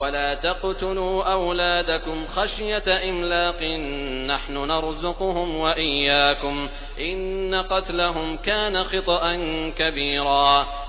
وَلَا تَقْتُلُوا أَوْلَادَكُمْ خَشْيَةَ إِمْلَاقٍ ۖ نَّحْنُ نَرْزُقُهُمْ وَإِيَّاكُمْ ۚ إِنَّ قَتْلَهُمْ كَانَ خِطْئًا كَبِيرًا